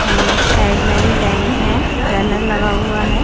And side में भी bank है। बैनर लगा हुआ है।